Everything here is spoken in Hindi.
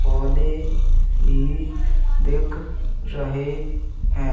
पौधे भी दिख रहे हैं।